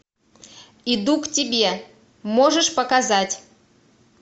иду к тебе можешь показать